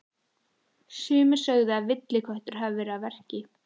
Sumir sögðu að villiköttur hefði verið að verki.